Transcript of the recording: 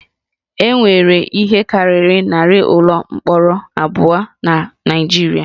E nwere ihe karịrị narị ụlọ mkpọrọ abụọ na Naịjirịa